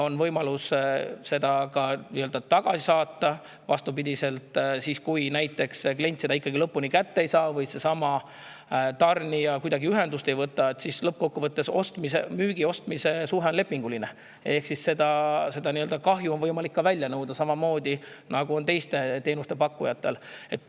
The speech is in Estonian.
On võimalus see tagasi saata või siis, kui klient seda ikkagi kätte ei saa või seesama tarnija kuidagi ühendust ei võta – lõppkokkuvõttes on müügi ja ostmise suhe lepinguline –, on ka võimalik kahju välja nõuda, samamoodi nagu on teiste teenuste pakkujate puhul.